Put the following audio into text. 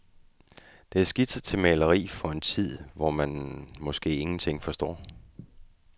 Det er skitser til maleri for en tid, hvor man måske ingenting forstår.